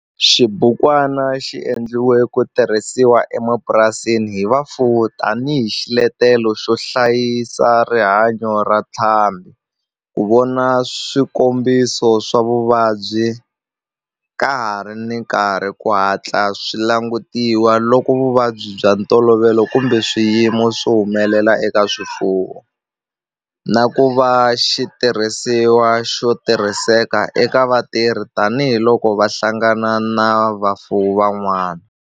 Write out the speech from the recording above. Xibukwana xi endliwe ku tirhisiwa emapurasini hi vafuwi tani hi xiletelo xo hlayisa rihanyo ra ntlhambhi, ku vona swikombiso swa vuvabyi ka ha ri na nkarhi ku hatla swi langutisiwa loko vuvabyi bya ntolovelo kumbe swiyimo swi humelela eka swifuwo, na ku va xitirhisiwa xo tirhiseka eka vatirhi tani hi loko va hlangana na vafuwi van'wana.